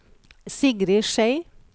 Sigrid Schei